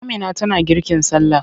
Amina tana girkin sallah.